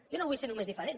jo no vull ser només diferent